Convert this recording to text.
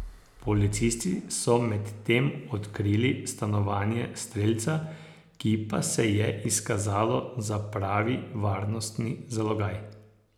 Policisti so medtem odkrili stanovanje strelca, ki pa se je izkazalo za pravi varnostni zalogaj.